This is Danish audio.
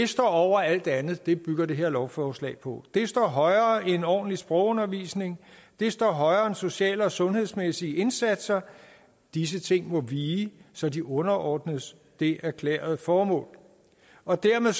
står over alt andet og det bygger det her lovforslag på det står højere end ordentlig sprogundervisning det står højere end social og sundhedsmæssige indsatser disse ting må vige så de underordnes det erklærede formål og dermed